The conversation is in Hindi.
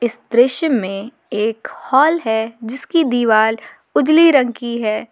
दृश्य में एक हाल है जिसकी दीवाल उजली रंग की है।